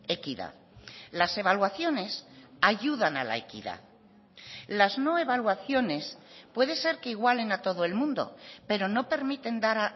equidad las evaluaciones ayudan a la equidad las no evaluaciones puede ser que igualen a todo el mundo pero no permiten dar